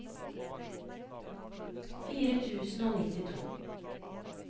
fire tusen og nittito